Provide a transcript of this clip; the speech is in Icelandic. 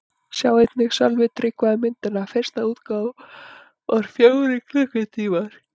Sjá einnig: Sölvi Tryggva um myndina: Fyrsta útgáfa var fjórir klukkutímar